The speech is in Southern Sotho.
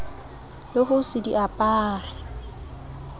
le ho se di apare